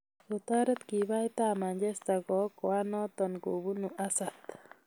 Kootoret kiipait ab manchester kookoan noto kobunu hazard